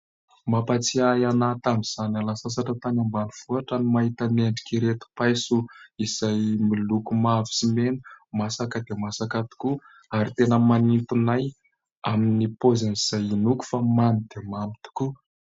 Mampahatsiahy ahy tamin'izaho niala sasatra tany ambanivohitra, ny mahita ny endrik'ireto paiso, izay miloko mavo sy mena. Masaka dia masaka tokoa, ary tena manintona ahy, amin'ny paoziny izay inoako fa mamy dia mamy tokoa.